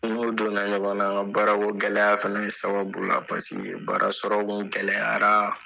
N n'o donna ɲɔgɔn na n ka baara ko gɛlɛya fɛnɛ sababu la. Paseke baara sɔrɔ kun gɛlɛyara